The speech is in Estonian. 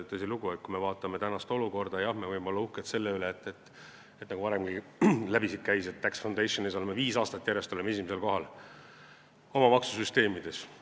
Tõsilugu, kui me vaatame tänast olukorda, siis jah, me võime olla uhked selle üle, nagu varemgi siit läbi käis, et Tax Foundationi tabelis oleme viis aastat järjest olnud oma maksusüsteemi poolest esimesel kohal.